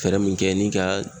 Fɛɛrɛ min kɛ ni ka